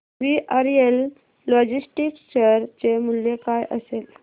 VRL logistics share चे मूल्य काय असेल